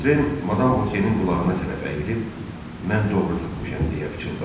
Votren Madam Vokenin qulağına tərəf əyilib, mən doğru tapmışam deyə pıçıldadı.